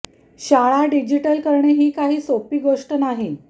शाळा डिजिटल करणे ही काही सोपी गोष्ट नाही